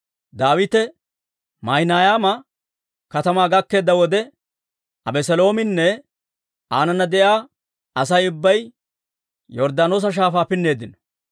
Daawite Maahinayma katamaa gakkeedda wode, Abeseloominne aanana de'iyaa Asay ubbay Yorddaanoosa Shaafaa pinneeddino.